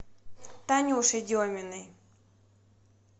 танюше деминой